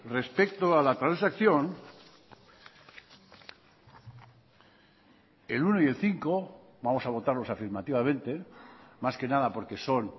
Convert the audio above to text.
respecto a la transacción el uno y el cinco vamos a votarlos afirmativamente más que nada porque son